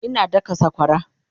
Ina daka sakwara